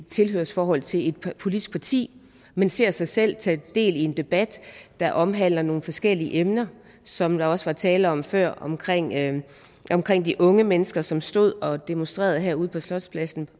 tilhørsforhold til et politisk parti men ser sig selv tage del i en debat der omhandler nogle forskellige emner som der også var tale om før om de unge mennesker som stod og demonstrerede herude på slotspladsen